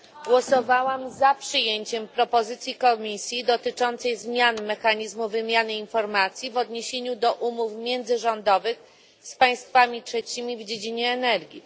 Głosowałam za przyjęciem propozycji Komisji dotyczącej zmiany mechanizmu wymiany informacji w odniesieniu do umów międzyrządowych z państwami trzecimi w dziedzinie energii.